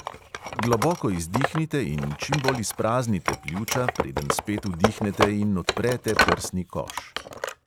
Globoko izdihnite in čim bolj izpraznite pljuča, preden spet vdihnete in odprete prsni koš.